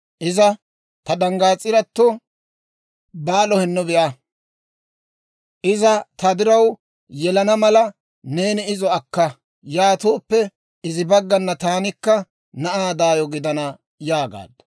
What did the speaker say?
Iza, «Ta danggaas'irato Baalo hinno be'a; iza ta diraw yelana mala neeni izo akka; yaatooppe izi baggana taanikka na'aa daayo gidana» yaagaaddu.